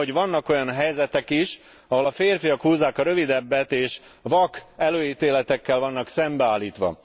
Tudom, hogy vannak olyan helyzetetek is, ahol a férfiak húzzák a rövidebbet, és vak előítéletekkel vannak szembeállítva.